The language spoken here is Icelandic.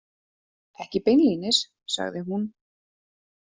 Ekki beinlínis, sagði hún.